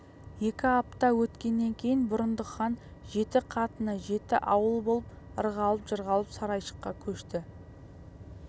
екі апта өткеннен кейін бұрындық хан жеті қатыны жеті ауыл болып ырғалып-жырғалып сарайшыққа көшті